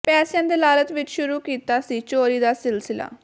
ਪੈਸਿਆਂ ਦੇ ਲਾਲਚ ਵਿੱਚ ਸ਼ੁਰੂ ਕੀਤਾ ਸੀ ਚੋਰੀ ਦਾ ਸਿਲਸਿਲਾ